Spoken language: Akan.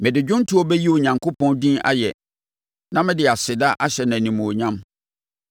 Mede dwomtoɔ bɛyi Onyankopɔn din ayɛ na mede aseda ahyɛ no animuonyam.